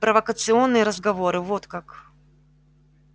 провокационные разговоры вот как